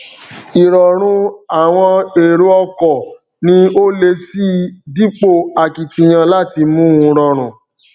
ìrọrùn àwọn èrò ọkọ ní ó le síi dípò akitiyan láti mú u rọrùn